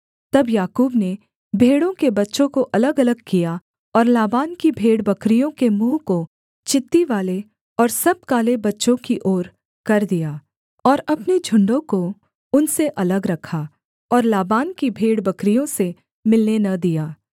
तब याकूब ने भेड़ों के बच्चों को अलगअलग किया और लाबान की भेड़बकरियों के मुँह को चित्तीवाले और सब काले बच्चों की ओर कर दिया और अपने झुण्डों को उनसे अलग रखा और लाबान की भेड़बकरियों से मिलने न दिया